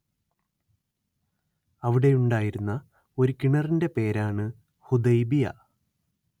അവിടെയുണ്ടായിരുന്ന ഒരു കിണറിന്റെ പേരാണ്‌ ഹുദൈബിയ